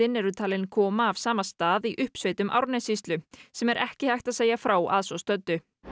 smitin eru talin koma af sama stað í uppsveitum Árnessýslu sem er ekki er hægt að segja frá að svo stöddu